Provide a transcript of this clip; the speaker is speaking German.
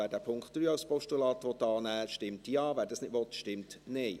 Wer den Punkt 3 als Postulat annehmen will, stimmt Ja, wer das nicht will, stimmt Nein.